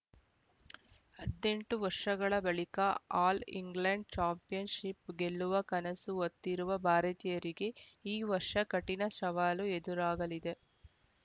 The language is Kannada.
ಹಥೆಂಟು ವರ್ಷಗಳ ಬಳಿಕ ಆಲ್‌ ಇಂಗ್ಲೆಂಡ್‌ ಚಾಂಪಿಯನ್‌ಶಿಪ್‌ ಗೆಲ್ಲುವ ಕನಸು ಹೊತ್ತಿರುವ ಭಾರತೀಯರಿಗೆ ಈ ವರ್ಷ ಕಠಿಣ ಶವಾಲು ಎದುರಾಗಲಿದೆ